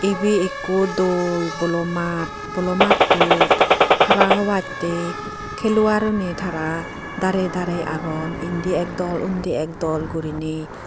Ebey ekko dol bolo maat bolo mattot hara hobattey helluaruney tara darey darey agon indi ek dol undi ek dol guriney.